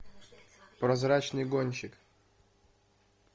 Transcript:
прозрачный гонщик